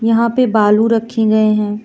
यहां पे बालू रखी गये हैं।